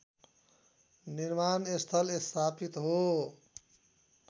निर्माणस्थल स्थापित हो